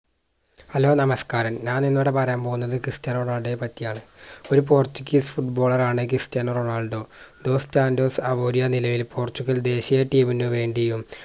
hello നമസ്കാരം ഞാൻ ഇന്ന് ഇവിടെ പറയാൻ പോകുന്നത് ക്രിസ്റ്റ്യാനോ റൊണാൾഡോയെ പറ്റിയാണ് ഒരു Portuguesefoot baller ആണ് ക്രിസ്റ്റ്യാനോ റൊണാൾഡോ. ഡോസ് സാന്റോസ് നിലയിൽ പോർച്ചുഗൽ ദേശീയ Team ന് വേണ്ടിയും